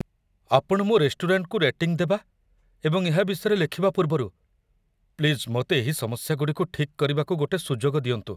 ଆପଣ ମୋ ରେଷ୍ଟୁରାଣ୍ଟକୁ ରେଟିଂ ଦେବା ଏବଂ ଏହା ବିଷୟରେ ଲେଖିବା ପୂର୍ବରୁ ପ୍ଲିଜ୍ ମୋତେ ଏହି ସମସ୍ୟାଗୁଡ଼ିକୁ ଠିକ୍ କରିବାକୁ ଗୋଟେ ସୁଯୋଗ ଦିଅନ୍ତୁ।